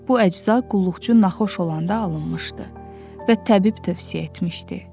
Bu əcza qulluqçu naxuş olanda alınmışdı və təbib tövsiyə etmişdi.